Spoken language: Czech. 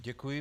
Děkuji.